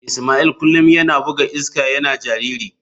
Ismail kullum yana buga iska yana jariri.